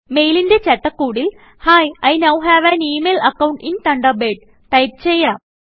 മെയിലിന്റെ ചട്ടക്കൂടിൽ hi I know have an email account in Thunderbirdടൈപ്പ് ചെയ്യാം